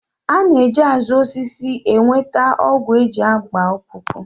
A na-eji azụ osisi enweta ọgwụ e ji agba ọkpụkpụ